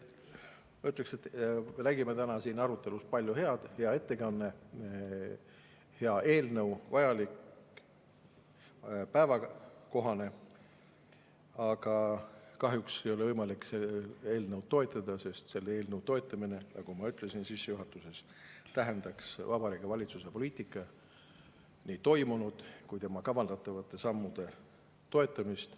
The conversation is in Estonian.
Ma ütleks, et me nägime täna siin arutelus palju head, oli hea ettekanne, see on hea eelnõu, vajalik, päevakohane, aga kahjuks ei ole võimalik eelnõu toetada, sest selle eelnõu toetamine, nagu ma ütlesin sissejuhatuses, tähendaks Vabariigi Valitsuse poliitika, nii kui ka kavandatavate sammude toetamist.